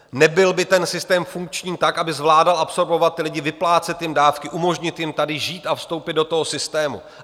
Nebyl by ten systém funkčním tak, aby zvládal absorbovat ty lidi, vyplácet jim dávky, umožnit jim tady žít a vstoupit do toho systému.